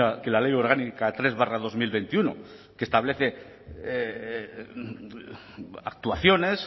que la ley orgánica tres barra dos mil veintiuno que establece actuaciones